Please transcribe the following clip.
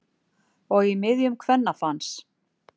Og í miðjum kvennafans.